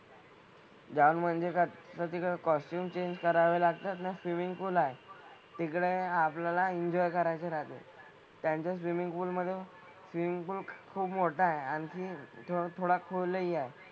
जाऊन म्हणजे कसं तिकडे कॉस्च्युम चेंज करावे लागतात ना स्विमिन्ग पूलआहे. तिकडे आपल्याला एन्जॉय करायचे राहते. त्यांच्या स्विमिन्ग पूल मधे स्विमिन्ग पूलखूप मोठा आहे आणि थोडा खोलही आहे.